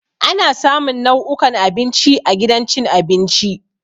Ana samun nau'ukan abinci a gidan cin abinci.